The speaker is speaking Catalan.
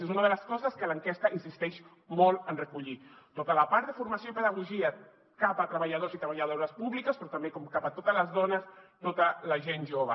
és una de les coses que l’enquesta insisteix molt en recollir tota la part de formació i pedagogia cap a treballadors i treballadores públiques però també com cap a totes les dones tota la gent jove